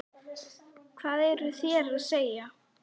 LÁRUS: Hvað eruð þér að segja?